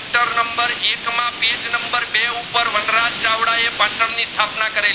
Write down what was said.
એ બટણ ની સ્થાપના કરેલી